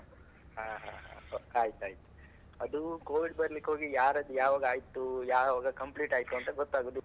ಹಾ ಹಾ ಹಾ ಆಯ್ತ್ ಆಯ್ತ್. ಅದು Covid ಬರ್ಲಿಕ್ಕೆ ಹೋಗಿ ಯಾರದು ಯಾವಾಗ ಆಯ್ತು ಯಾವಾಗ complete ಆಯ್ತು ಅಂತ ಗೊತ್ತಾಗುದಿಲ್ಲ.